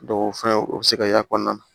o fɛn o bɛ se ka y'a kɔnɔna na